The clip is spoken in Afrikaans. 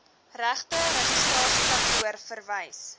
regte registrasiekantoor verwys